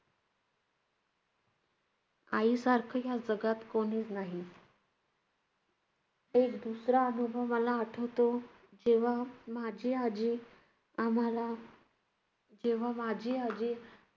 आईसारखं या जगात कोणीच नाही. एक दुसरा अनुभव मला आठवतो, जेव्हा माझी आजी आम्हाला~ जेव्हा माझी आजी